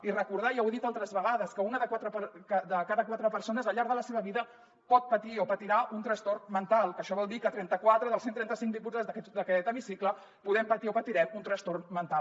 i recordar ja ho he dit altres vegades que una de cada quatre persones al llarg de la seva vida pot patir o patirà un trastorn mental que això vol dir que trenta quatre dels cent i trenta cinc diputats d’aquest hemicicle podem patir o patirem un trastorn mental